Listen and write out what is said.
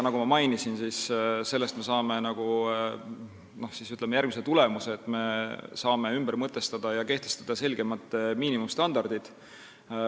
Nagu ma mainisin, me saame siis nagu järgmise tulemuse, me saame kehtestada selgemad miinimumstandardid.